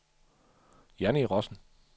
Janni Rossen